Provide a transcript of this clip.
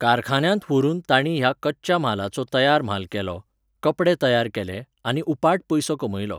कारखान्यांत व्हरून तांणी ह्या कच्च्या म्हालाचो तयार म्हाल केलो, कपडे तयार केले, आनी उपाट पयसो कमयलो